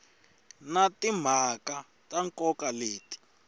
na timhaka ta nkoka leti